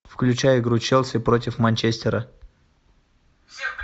включай игру челси против манчестера